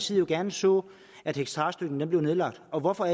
side jo gerne så at hektarstøtten blev nedlagt og hvorfor